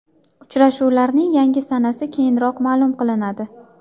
Uchrashuvlarning yangi sanasi keyinroq ma’lum qilinadi.